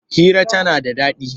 Hira tana da daɗi.